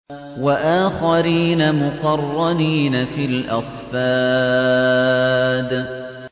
وَآخَرِينَ مُقَرَّنِينَ فِي الْأَصْفَادِ